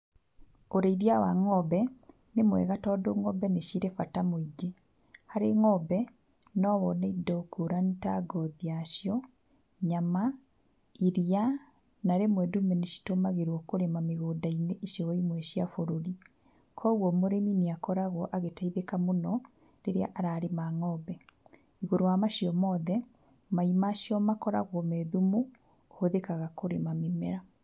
Ũrĩithia wa ng'ombe nĩ mwega, tondũ ng'ombe nĩ cirĩ bata mũingĩ, harĩ ng'ombe no wone indo ngũrani ta ngothi yacio, nyama, iria, na rĩmwe ndume nĩ citũmagĩrwo kũrĩma mĩgũnda-inĩ icigo imwe cia bũrũri, koguo mũrĩmi nĩ akoragwo agĩteithĩka mũno rĩrĩa ararĩma ng'ombe, igũrũ rĩa macio mothe, mai macio makoragwo me thumu ũhũthĩkaga kũrĩma mĩmera.